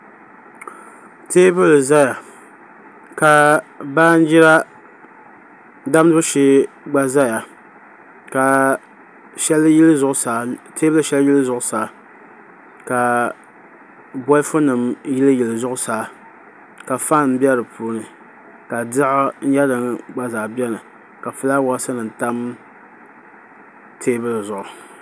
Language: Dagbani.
Teebuli ʒɛya ka baanjira damdibu shee gba ʒɛya ka teebuli shɛli yili zuɣusaa ka bolfu nim yili yili zuɣusaa ka faan bɛ di puuni ka diɣi nyɛ din gba zaa biɛni ka fulaawaasi nim tam teebuli zuɣu